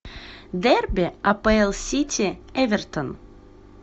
дерби апл сити эвертон